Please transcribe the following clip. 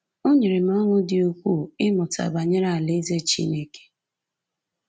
O nyere m ọṅụ dị ukwuu ịmụta banyere Alaeze Chineke